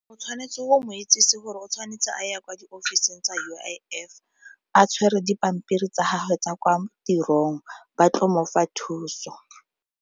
O tshwanetse o mo itsisi gore o tshwanetse a ya kwa di ofiseng tsa U_I_F a tshwere dipampiri tsa gagwe tsa kwa tirong ba tlo mo fa thuso.